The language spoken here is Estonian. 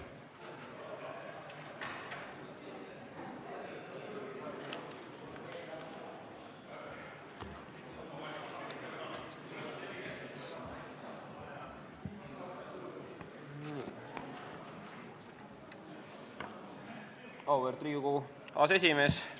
Auväärt Riigikogu aseesimees!